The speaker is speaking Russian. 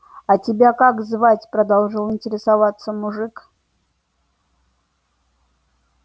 а тебя как звать продолжал интересоваться мужик